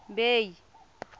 bay